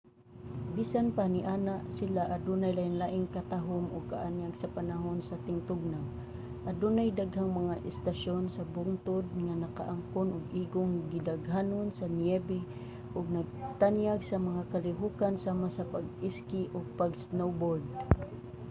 bisan pa niana sila adunay lain-laing katahum ug kaanyag sa panahon sa tingtugnaw adunay daghang mga istasyon sa bungtod nga nakaangkon og igong gidaghanon sa niyebe ug nagtanyag sa mga kalihokan sama sa pag-iski ug pag-snowboard